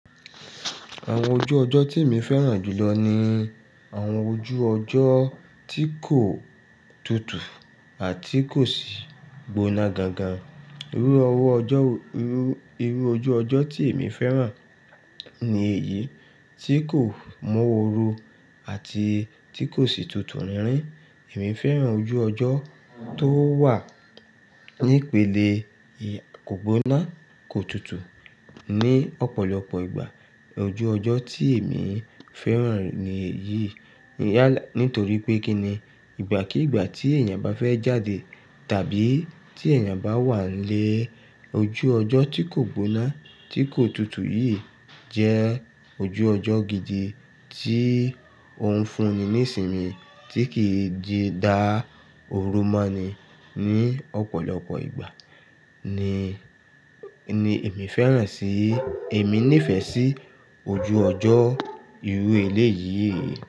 Àwọn ojú ọjọ́ tí èmi fẹ́ràn jù lọ ni àwọn ojú ọjọ́ –tí kò —tutù àti kò sì —gbóná gan gan. Irú ojú ọjọ́ tí èmi fẹ́ràn— ni èyí tí kò mọ́ oru àti tí kò sì tutù rínrín. Èmi fẹ́ràn ojú ọjọ́— tó wà —nípele –kò gbóná, kò tutù. Ni ọ̀pọ̀lọpọ̀ ìgbà, –ojú ọjọ́ tí èmi –fẹ́ràn ni èyí. Nítorí pé kí ni, ìgbà kí ìgbà tí èèyàn bá fẹ́ jáde tàbí tí èèyàn bá wà nílé, ojú ọjọ́ tí kò gbóná, tí kò tutù yìí jẹ́ ojú ọjọ́ gidi tí ó ń fúnni ní ìsinmi tí kìi di dá òrumọ́ni ní ọ̀pọ̀lọpọ̀ ìgbà— ni ni èmi fẹ́ràn sì. Èmi nífẹ̀ẹ́ sí —ojú ọjọ́ –irú èléyìí.